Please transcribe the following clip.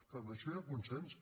però en això hi ha consens